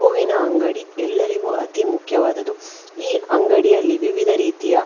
ಹೂವಿನ ಅಂಗಡಿ ಎಲ್ಲರಿಗೂ ಅತೀ ಮುಖ್ಯವಾದುದು ಈ ಅಂಗಡಿಯಲ್ಲಿ ವಿವಿಧ ರೀತಿಯ --